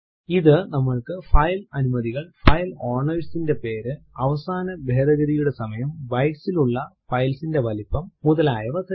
ഇത് നമ്മൾക്ക് ഫൈൽ അനുമതികൾ ഫൈൽ owner ന്റെ പേര് അവസാന ഭേദഗതിയുടെ സമയം bytes ലുള്ള ഫൈൽ ന്റെ വലിപ്പം മുതലായവ തരുന്നു